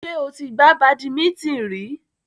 Ṣé o ti gbá badimíńtìn rí?